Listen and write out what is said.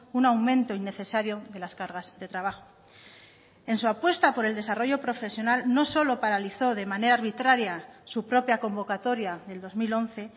un aumento innecesario de las cargas de trabajo en su apuesta por el desarrollo profesional no solo paralizó de manera arbitraria su propia convocatoria del dos mil once